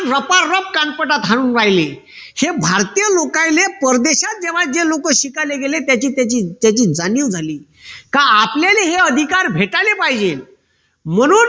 कानपटात हाणून राहिले हे भारतीय लोकायले परदेशात जेव्हा जे लोक शिकायला गेले त्याची त्याची त्याची जाणीव झाली. का आपल्याला हे अधिकार भेटायला पाहिजे म्हणून